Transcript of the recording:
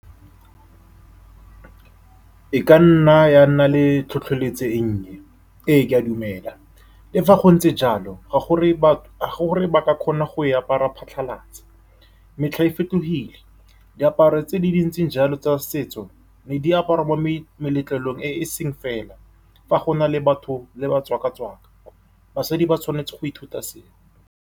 E ka nna ya nna le tlhotlheletso e nnye. Ee, ke a dumela, le fa go ntse jalo ga gore ba ka kgona go e apara phatlhalatsa. Metlha e fetogile, diaparo tse di dintseng jalo tsa setso ne diaparwa mo meletlelong e e seng fela. Fa go na le batho ne ba tswaka-tswaka. Basadi ba tshwanetse go ithuta seo.